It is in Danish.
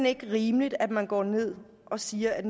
ikke rimeligt at man går ned og siger at